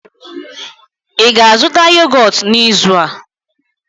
ị ga-azụta yogọt n'izu a?